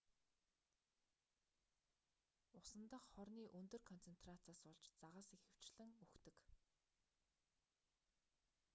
усан дахь хорны өндөр концентрацаас болж загас ихэвчлэн үхдэг